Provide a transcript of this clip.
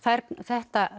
þetta